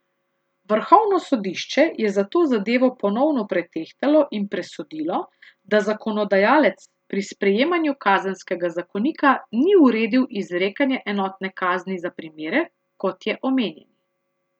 Vrhovno sodišče je zato zadevo ponovno pretehtalo in presodilo, da zakonodajalec pri sprejemanju kazenskega zakonika ni uredil izrekanja enotne kazni za primere, kot je omenjeni.